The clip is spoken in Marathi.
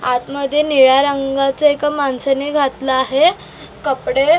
आत मध्ये निळ्या रंगाचे एका माणसाने घातला आहे कपडे --